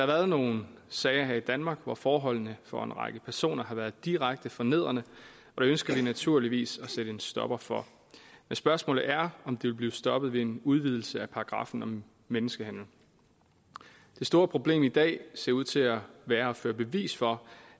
været nogle sager her i danmark hvor forholdene for en række personer har været direkte fornedrende og det ønsker vi naturligvis at sætte en stopper for men spørgsmålet er om det vil blive stoppet ved en udvidelse af paragraffen om menneskehandel det store problem i dag ser ud til at være at føre bevis for